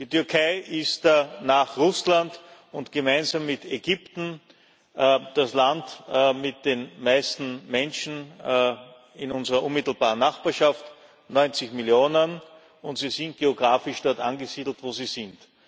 Die Türkei ist nach Russland und gemeinsam mit Ägypten das Land mit den meisten Menschen in unserer unmittelbaren Nachbarschaft 90 Millionen und sie sind geografisch dort angesiedelt, wo sie sind.